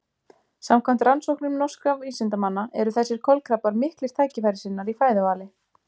samkvæmt rannsóknum norskra vísindamanna eru þessir kolkrabbar miklir tækifærissinnar í fæðuvali